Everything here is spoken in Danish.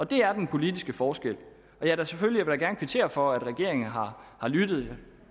det er den politiske forskel og selvfølgelig vil jeg kvittere for at regeringen har lyttet